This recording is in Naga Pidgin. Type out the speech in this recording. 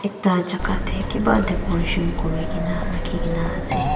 ekta choka te kiba decoration kori kina rakhi kina ase.